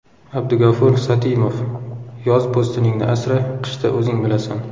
Abdugafur Satimov Yoz po‘stiningni asra, qishda o‘zing bilasan.